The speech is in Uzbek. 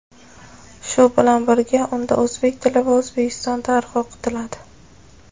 shu bilan birga unda o‘zbek tili va O‘zbekiston tarixi o‘qitiladi.